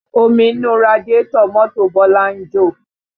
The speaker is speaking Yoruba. Omi inú radiátọ̀ mọ́tò bọlá ń jò